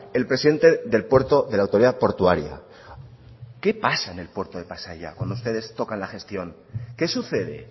el presidente del puerto de la autoridad portuaria qué pasa en el puerto de pasaia cuando ustedes tocan la gestión qué sucede